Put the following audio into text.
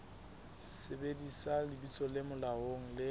sebedisa lebitso le molaong le